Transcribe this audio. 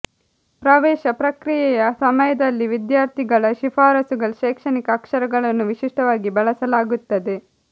ಪ್ರವೇಶ ಪ್ರಕ್ರಿಯೆಯ ಸಮಯದಲ್ಲಿ ವಿದ್ಯಾರ್ಥಿಗಳ ಶಿಫಾರಸುಗಳ ಶೈಕ್ಷಣಿಕ ಅಕ್ಷರಗಳನ್ನು ವಿಶಿಷ್ಟವಾಗಿ ಬಳಸಲಾಗುತ್ತದೆ